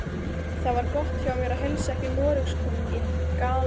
Það var gott hjá mér að heilsa ekki Noregskonungi, galaði